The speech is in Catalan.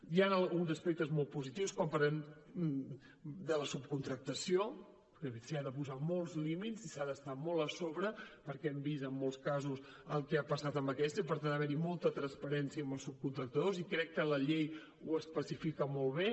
hi han alguns aspectes molt positius quan parlem de la subcontractació que s’hi han de posar molts límits i s’hi ha d’estar molt a sobre perquè hem vist en molts casos el que ha passat amb aquesta i per tant ha d’haver hi molta transparència amb els subcontractadors i crec que la llei ho especifica molt bé